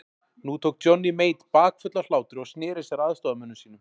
Nú tók Johnny Mate bakföll af hlátri og sneri sér að aðstoðarmönnum sínum.